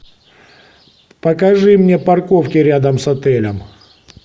покажи мне парковки рядом с отелем